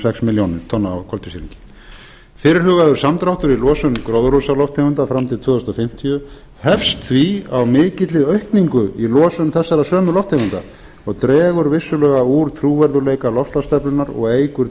sex milljónir tonna af koltvísýringi fyrirhugaður samdráttur í losun gróðurhúsalofttegunda fram til tvö þúsund fimmtíu hefst því á mikilli aukningu í losun þessara sömu lofttegunda það dregur vissulega úr trúverðugleika loftslagsstefnunnar og eykur